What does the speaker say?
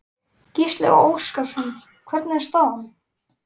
Gísli Óskarsson: Hvernig er staðan?